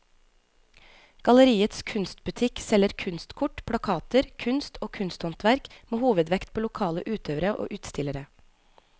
Galleriets kunstbutikk selger kunstkort, plakater, kunst og kunsthåndverk med hovedvekt på lokale utøvere og utstillere.